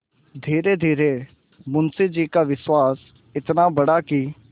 धीरेधीरे मुंशी जी का विश्वास इतना बढ़ा कि